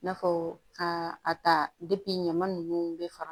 I n'a fɔ ka a ta ɲaman ninnu bɛ faga